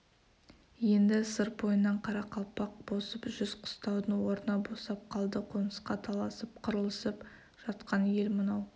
енді сыр бойынан қарақалпақ босып жүз қыстаудың орны босап қалды қонысқа таласып қырылысып жатқан ел мынау